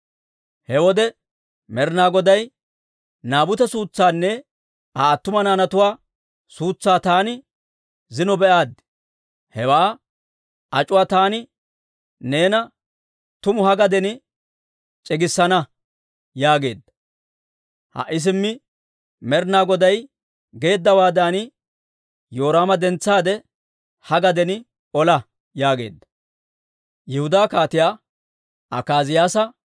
He wode Med'ina Goday, ‹Naabute suutsaanne Aa attumawaa naanatuwaa suutsaa taani zino be'aaddi; hewaa ac'uwaa taani neena tumu ha gaden c'igissana› yaageedda. Ha"i simmi Med'ina Goday geeddawaadan, Yoraama dentsaade, ha gaden ola» yaageedda.